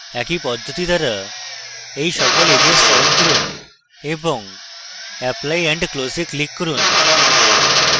একই পদ্ধতি দ্বারা এই সকল edges চয়ন করুন এবং apply and close এ click করুন